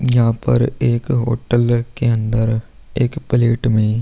यहाँ पर एक होटल के अंदर एक पलेट में --